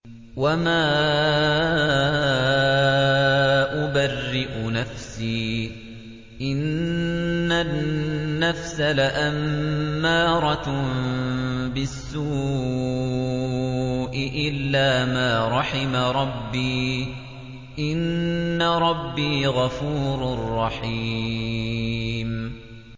۞ وَمَا أُبَرِّئُ نَفْسِي ۚ إِنَّ النَّفْسَ لَأَمَّارَةٌ بِالسُّوءِ إِلَّا مَا رَحِمَ رَبِّي ۚ إِنَّ رَبِّي غَفُورٌ رَّحِيمٌ